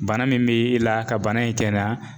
Bana min be i la ka bana in kɛnɛya